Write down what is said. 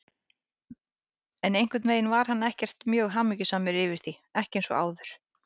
En einhvern veginn var hann ekkert mjög hamingjusamur yfir því, ekki eins og áður.